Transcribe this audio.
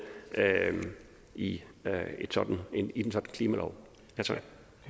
i en sådan klimalov tak